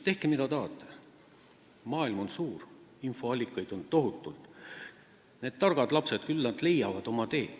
Tehke mida tahate, maailm on suur, infoallikaid on tohutult, küll need targad lapsed leiavad oma tee.